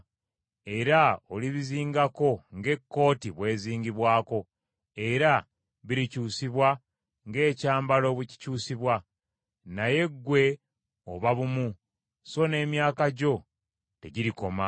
Era olibizingako ng’ekooti bwe zingibwako, era birikyusibwa ng’ekyambalo bwe kikyusibwa. Naye ggwe oba bumu, so n’emyaka gyo tegirikoma.”